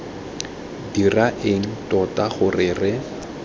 dira eng tota gore re